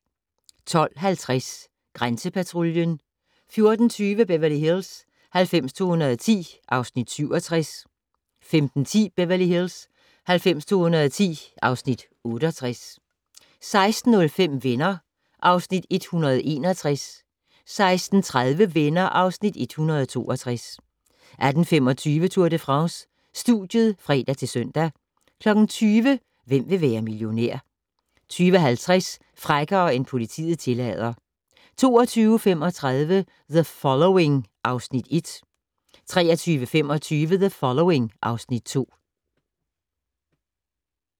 12:50: Grænsepatruljen 14:20: Beverly Hills 90210 (Afs. 67) 15:10: Beverly Hills 90210 (Afs. 68) 16:05: Venner (Afs. 161) 16:30: Venner (Afs. 162) 18:25: Tour de France: Studiet (fre-søn) 20:00: Hvem vil være millionær? 20:50: Frækkere end politiet tillader 22:35: The Following (Afs. 1) 23:25: The Following (Afs. 2)